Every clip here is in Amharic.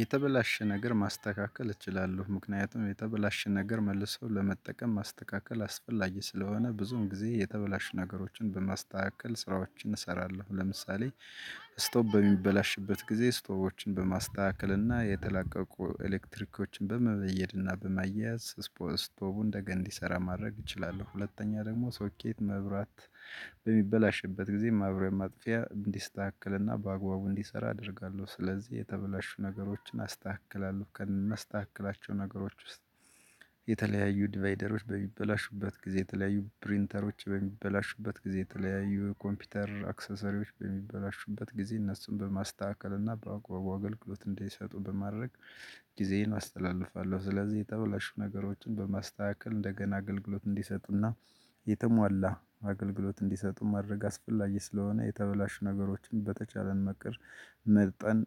የተበላሸ ነገር ማስተካከል እችላለሁ ምክንያቱም የተበላሸ ነገር መልሰው ለመጠቀም ማስተካከል አስፈላጊ ስለሆነ ብዙም ጊዜ የተበላሽ ነገሮችን በማስተካከል ስራዎችን እሰራለሁ ለምሳሌ ስቶፕ በሚበላሽበት ጊዜ ስቶፕን በማስተካከልና የተላቀቁ ኤሌክትሪኮችን በመበየድና በማያያዝ ስፖ ስቶቡን ደግሞ እንዲሰራ ማድረግ እችላለሁ። ሁለተኛ ደግሞ ሶኬት መብራት በሚበላሽበት ጊዜ ማብሪያ ማጥፊያ እንዲስተካከልና በአግባቡ እንዲሰራ አደርጋለሁ። ስለዚህ የተበላሹ ነገሮችን አስተካክላሉ ከመስተካከላቸው ነገሮች ውስጥ የተለያዩ ዲቫይደሮች በሚበላሹበት ጊዜ የተለያዩ ፕሪንተሮች በሚበላሹበት ጊዜ የተለያዩ ኮምፒውተር አክሰሰሪዎች በሚበላሹበት ጊዜ እነሱን በማስተካከል እና በአግባቡ አገልግሎት እንዳይሰጡ በማድረግ ጊዜዬን አስተላልፋለሁ። ስለዚህ የተበላሹ ነገሮችን በማስተካከል እንደገና አገልግሎት እንዲሰጥና የተሟላ አገልግሎት እንዲሰጡ ማድረግ አስፈላጊ ስለሆነ የተበላሹ ነገሮችን በተቻለን መቅር መርጠን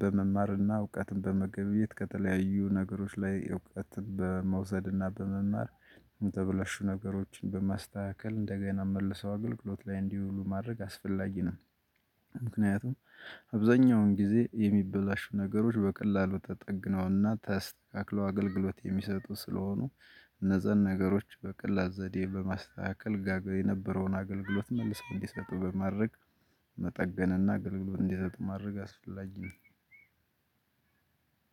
በመማርና እውቀትን በመገበየት ከተለያዩ ነገሮች ላይ እውቀትን በመውሰድና በመማር የተበላሹ ነገሮችን በማስተካከል እንደገና መልሰው አገልግሎት ላይ እንዲውሉ ማድረግ አስፈላጊ ነው። ምክንያቱም አብዛኛውን ጊዜ የሚበላሹ ነገሮች በቀላሉ ተጠግነውና ተስተካክለው አገልግሎት የሚሰጡ ስለሆኑ እነዛን ነገሮች በቀላል ዘዴ በማስተካከል ጋገ የነበረውን አገልግሎት መልሰው እንዲሰጡ በማድረግ መጠገንና ገልግሎት እንዲሰጡ ማድረግ አስፈላጊ።